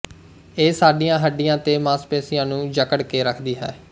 ਇਹ ਸਾਡੀਆਂ ਹੱਡੀਆਂ ਤੇ ਮਾਸਪੇਸੀਆਂ ਨੂੰ ਜਕੜ ਕੇ ਰੱਖਦੀ ਹੈ